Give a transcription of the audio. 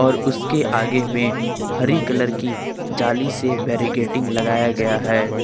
और उसके आगे में हरी कलर की जाली से बैरिकेडिंग लगाया गया है।